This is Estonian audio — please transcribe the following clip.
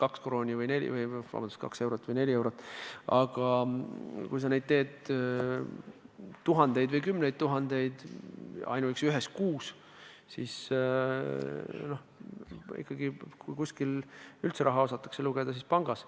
Ühe päringu hind on umbes kaks eurot või neli eurot, aga kui sa teed neid päringuid tuhandeid või kümneid tuhandeid ainuüksi ühes kuus, siis on kogukulu päris suur – kui kusagil üldse osatakse raha lugeda, siis pangas.